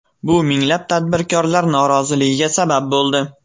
Bu minglab tadbirkorlar noroziligiga sabab bo‘ldi.